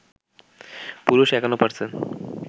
পুরুষ ৫১%